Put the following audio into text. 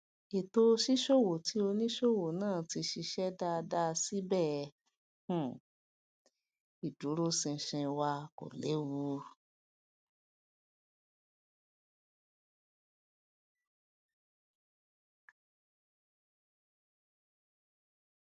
ètò ṣíṣòwò ti onísòwò náà ti ṣiṣẹ dáadáa síbẹ um ìdúróṣinṣin owó wà kò lewu